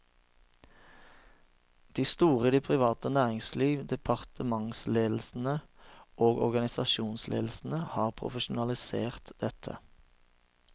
De store i det private næringsliv, departementsledelsene og organisasjonsledelsene har profesjonalisert dette.